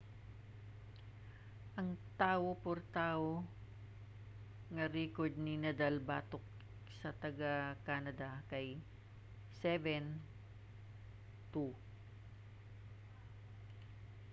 ang tawo-por-tawo nga rekord ni nadal batok sa taga-canada kay 7-2